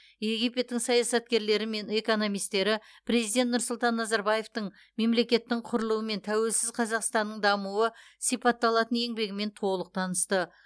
египеттің саясаткерлері мен экономистері президент нұрсұлтан назарбаевтың мемлекеттің құрылуы мен тәуелсіз қазақстанның дамуы сипатталатын еңбегімен толық танысты